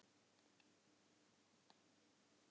Hrund Þórsdóttir: Hvað er þetta?